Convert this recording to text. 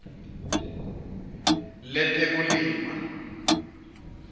letekulima